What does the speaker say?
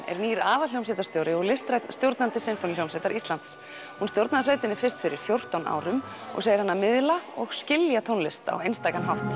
er nýr aðalhljómsveitarstjóri og listrænn stjórnandi Sinfóníuhljómsveitar Íslands hún stjórnaði sveitinni fyrst fyrir fjórtán árum og segir hana miðla og skilja tónlist á einstakan hátt